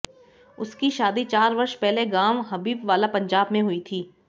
उसकी शादी चार वर्ष पहले गांव हबीबवाला पंजाब में हुई थी